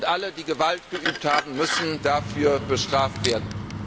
Alle, die Gewalt geübt haben, müssen dafür bestraft werden.